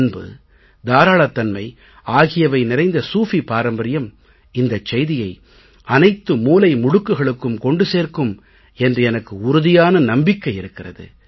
அன்பு தாராளத் தன்மை ஆகியவை நிறைந்த சூஃபி பாரம்பர்யம் இந்த செய்தியை அனைத்து மூலை முடுக்குகளுக்கும் கொண்டு சேர்க்கும் என்று எனக்கு உறுதியான நம்பிக்கை இருக்கிறது